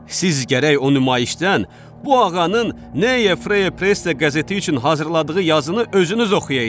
Siz gərək o nümayişdən bu ağanın Neye Freye Presse qəzeti üçün hazırladığı yazını özünüz oxuyaydınız.